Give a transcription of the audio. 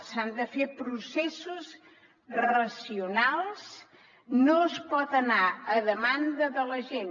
s’han de fer processos racionals no es pot anar a demanda de la gent